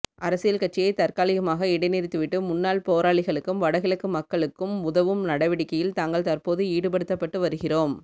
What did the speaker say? அரசியல் கட்சியை தற்காலிகமாக இடைநிறுத்திவிட்டு முன்னாள் போராளிகளுக்கும் வடகிழக்கு மக்களுக்கும் உதவும் நடவடிக்கையில் தாங்கள் தற்போது ஈடுபடுத்தப்பட்டுவருகிறோம்